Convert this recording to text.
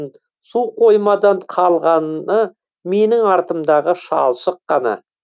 су қоймадан қалғаны менің артымдағы шалшық қана